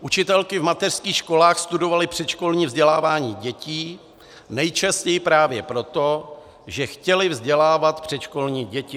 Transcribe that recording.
Učitelky v mateřských školách studovaly předškolní vzdělávání dětí nejčastěji právě proto, že chtěly vzdělávat předškolní děti.